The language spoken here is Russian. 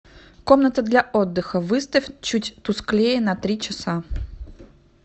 комната для отдыха выставь чуть тусклее на три часа